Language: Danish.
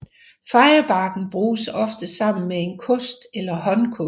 Fejebakken bruges oftest sammen med en kost eller håndkost